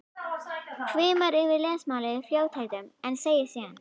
Hvimar yfir lesmálið í fljótheitum en segir síðan